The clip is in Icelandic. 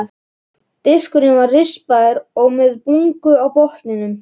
Diskurinn var rispaður og með bungu á botninum.